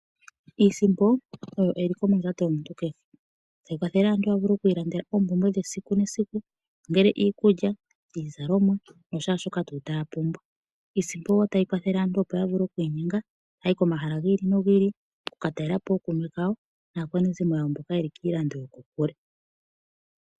Iisimpo oyo eliko mondjato yomuntu kehe. Ohayi kwathele omuntu a vule okuilandela oompumbwe dhesiku nesiku, ongele iikulya, iizalomwa nashaashoka taya pumbwa. Iisimpo wo otayi kwathele aantu opo ya vule okuinyenga taya yi komahala gi ili nogi ili, oku ka talela po ookume kawo naakwanezimo yawo mboka ye li kiilando yokokule.